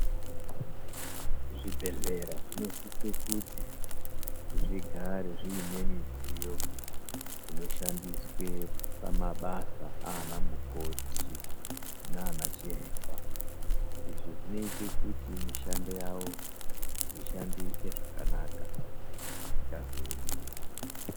Zvi bhedhlera zvino sise kuti zvigare zvine midziyo inoshandiswe pama basa ana mukoti nana chiremba izvi zvinoite kuti mishando yavo ishandike zvakanaka isingazo emi.